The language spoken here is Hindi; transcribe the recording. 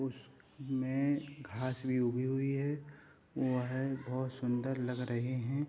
उस में घास भी ऊगा हुई है हुआ है बहुत सुन्दर लग रहे हैं |